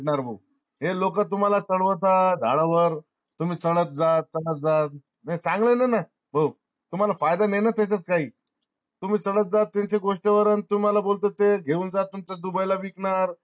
नार भो हे लोक तुम्हाला चढवतात झाडावर तुम्ही चडत जा चडत जा हे चांगल नाय ना भाऊ तुम्हा ला फायदा नाय ना तेच्यात काई तुम्ही चडत जा त्यांच्या गोष्टी वर न तुम्हाला बोलत ते घेऊन जा तुमच dubai ला विक नार